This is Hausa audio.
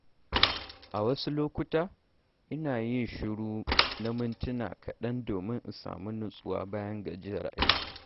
A wasu lokuta, ina yin shiru na mintuna kaɗan domin in sami natsuwa bayan gajiyar aiki.